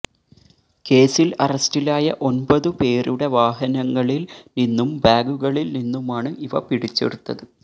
കേസില് അറസ്റ്റിലായ ഒന്പതു പേരുടെ വാഹനങ്ങളില് നിന്നും ബാഗുകളില്നിന്നുമാണ് ഇവ പിടിച്ചെടുത്തത്